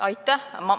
Aitäh!